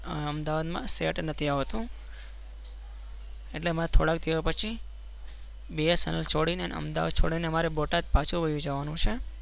અમદાબાદ માં સેટ નથી આવતું એટલે અમે થોડા દિવસ પસી Bsnl ચોદિ ને અમદાવાદ છોડી ને બોટાદ પાછુ વાડી જવા નું છે.